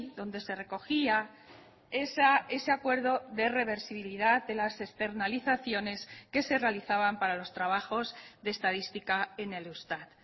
donde se recogía ese acuerdo de reversibilidad de las externalizaciones que se realizaban para los trabajos de estadística en el eustat